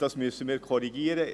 Das müssen wir korrigieren.